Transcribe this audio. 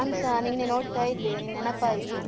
ಅದೇ ನಾನ್ಸ ನಿನ್ನೆ ನೋಡ್ತಾ ಇದ್ದೆ ನಿನ್ ನೆನಪಾಯ್ತು.